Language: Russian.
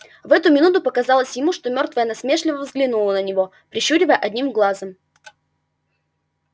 в эту минуту показалось ему что мёртвая насмешливо взглянула на него прищуривая одним глазом